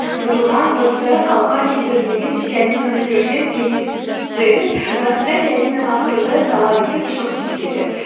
бұзылған дыбыстары қалыпқа келтірілмеген пианиноны көрген кейс джеральд басында пианиноны ауыстыруды талап етіп шығып кетеді